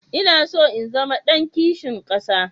Ina so na zama ɗan kishin ƙasa.